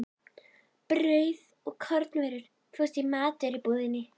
Brauð og kornvörur fást í matvörubúðinni.